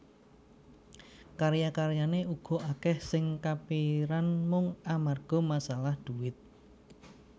Karya karyané uga akèh sing kapiran mung amarga masalah dhuwit